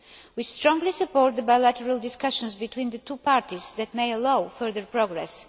We strongly support the bilateral discussions between the two parties that may allow further progress.